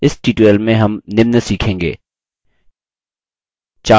इस tutorial में हम निम्न सीखेंगे: